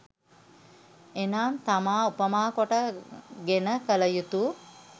එනම්, තමා උපමා කොට ගෙන කළ යුතු,